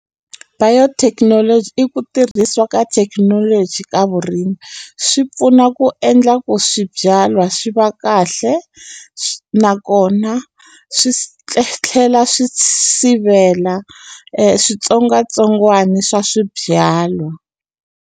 Biotechnology i ku tirhisiwa ka thekinoloji ka vurimi swi pfuna ku endla ku swibyalwa swi va kahle nakona swi tlhela swi sivela switsongwatsongwana swa swibyalwa.